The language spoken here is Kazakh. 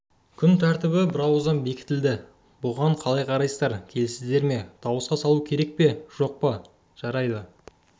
күн тәртібі бірауыздан бекітіледі бұған қалай қарайсыздар келісесіздер ме дауысқа салу керек пе жоқ па жарайды